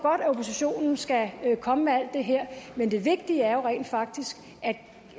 at oppositionen skal komme med alt det her men det vigtige er jo rent faktisk at